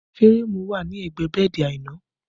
Férémù wà ní ẹgbẹ́ bẹ́ẹ̀dì Aina